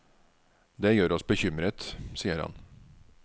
Det gjør oss bekymret, sier han.